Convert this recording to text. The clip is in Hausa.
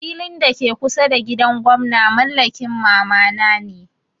Filin da ke kusa da gidan gwamna mallakin mama na ne.